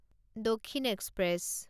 Dakshin express